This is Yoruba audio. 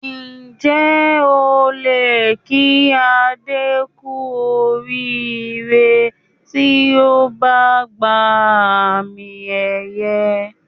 Ǹjẹ́ o lè kí Adé kú oríire tí ó bá gba àmì-ẹ̀yẹ?